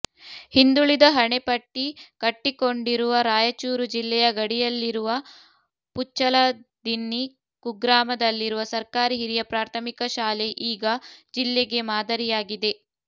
ಹಿಂದುಳಿದ ಹಣೆಪಟ್ಟಿ ಕಟ್ಟಿಕೊಂಡಿರುವ ರಾಯಚೂರು ಜಿಲ್ಲೆಯ ಗಡಿಯಲ್ಲಿರುವ ಪುಚ್ಚಲದಿನ್ನಿ ಕುಗ್ರಾಮದಲ್ಲಿರುವ ಸರ್ಕಾರಿ ಹಿರಿಯ ಪ್ರಾಥಮಿಕ ಶಾಲೆ ಈಗ ಜಿಲ್ಲೆಗೇ ಮಾದರಿಯಾಗಿದೆ